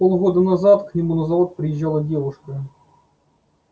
полгода назад к нему на завод приезжала девушка